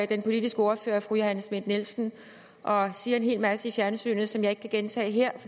den politiske ordfører fru johanne schmidt nielsen og siger en hel masse i fjernsynet som jeg ikke kan gentage her